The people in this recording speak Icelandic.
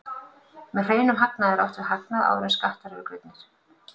Með hreinum hagnaði er átt við hagnað áður en skattar eru greiddir.